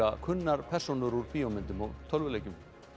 kunnar persónur úr bíómyndum og tölvuleikjum